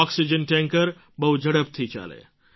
oxygen tanker બહુ ઝડપથી ચાલે